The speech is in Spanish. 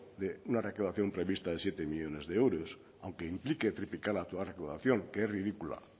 de una recaudación prevista de siete millónes de euros aunque implique triplicar la actual recaudación que es ridícula